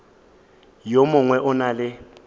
yo mongwe o na le